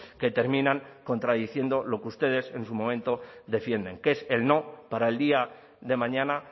que terminan contradiciendo lo que ustedes en su momento defienden que es el no para el día de mañana